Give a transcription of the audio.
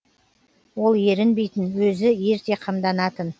ол ерінбейтін өзі ерте қамданатын